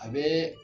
A bɛ